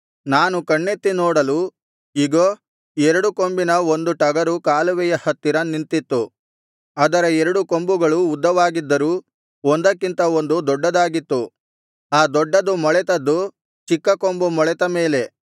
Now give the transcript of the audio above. ನಾನು ಕಣ್ಣೆತ್ತಿ ನೋಡಲು ಇಗೋ ಎರಡು ಕೊಂಬಿನ ಒಂದು ಟಗರು ಕಾಲುವೆಯ ಹತ್ತಿರ ನಿಂತಿತ್ತು ಅದರ ಎರಡು ಕೊಂಬುಗಳು ಉದ್ದವಾಗಿದ್ದರೂ ಒಂದಕ್ಕಿಂತ ಒಂದು ದೊಡ್ಡದಾಗಿತ್ತು ಆ ದೊಡ್ಡದು ಮೊಳೆತದ್ದು ಚಿಕ್ಕ ಕೊಂಬು ಮೊಳೆತ ಮೇಲೆ